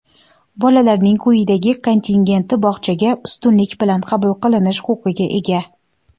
Bolalarning quyidagi kontingenti bog‘chaga ustunlik bilan qabul qilinish huquqiga ega:.